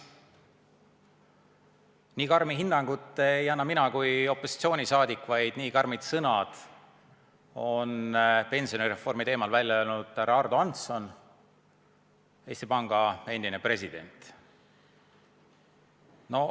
Nii karmi hinnangut ei anna mina kui opositsiooni liige, vaid nii karmid sõnad on pensionireformi teemal öelnud härra Ardo Hansson, Eesti Panga endine president.